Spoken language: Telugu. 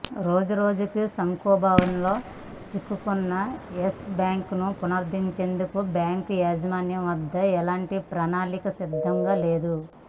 రోజురోజుకు సంక్షోభంలో చిక్కుకున్న యెస్ బ్యాంకును పునరుద్ధరించేందుకు బ్యాంకు యాజమాన్యం వద్ద ఎలాంటి ప్రణాళికా సిద్ధంగా లేదు